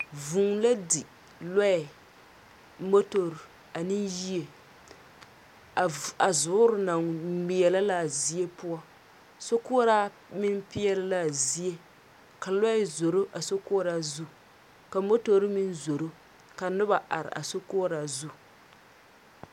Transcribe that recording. Vũũ la di lɔɛ, motori ane yie. A vo a zoore naŋ ŋmeɛlɛ la a zie poɔ. Sokoɔraa meŋ peɛle la a zie, ka lɔɛ zoro a sokoɔraa zu, ka motori meŋ zoro, ka noba are a sokoɔraa zu.